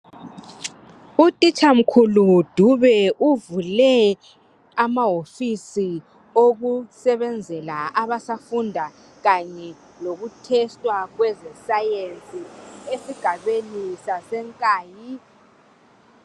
Utitsha mkhulu Dube uvule amawofisi okusebenzela abasafunda kanye lokuthesitwa kweze"science" esigabeni saseNkayi.